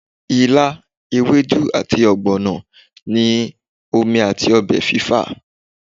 ìlá, ewedu ati ogbono ni omi ati ọbẹ fifa